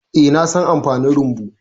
Eh, na san amfanin rumbu.